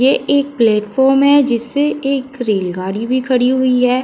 ये एक प्लेटफार्म है। जिस पे एक रेलगाड़ी भी खड़ी हुई है।